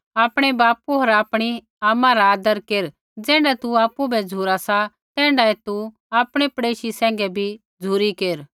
आपणै बापू होर आपणी आमा रा आदर केर ज़ैण्ढा तू आपु बै झ़ुरा सा तैण्ढा तू आपणै पड़ेशी सैंघै भी झ़ुरी केर